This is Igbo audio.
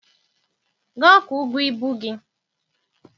Gaa kwụọ ụgwọ ibu gị!